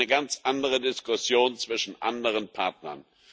Das ist eine ganz andere Diskussion zwischen anderen Partnern.